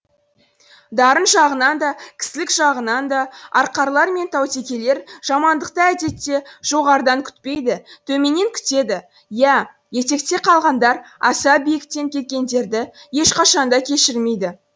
дарын жағынан да кісілік жағынан да арқарлар мен таутекелер жамандықты әдетте жоғарыдан күтпейді төменнен күтеді иә етекте қалғандар аса биіктен кеткендерді ешқашан да кешірмейді